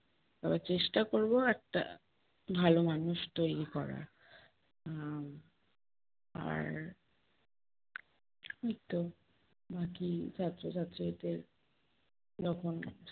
তবে চেষ্টা করবো একটা ভালো মানুষ তৈরী করার, উম আর এইতো বাকি ছাত্র ছাত্রীদের যখন